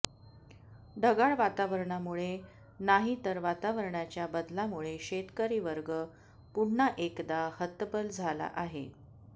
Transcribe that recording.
ढगाळ वातावरणामुळे नाही तर वातावरणाच्या बदलामुळे शेतकरी वर्ग पुन्हा एकदा हतबल झाला आहे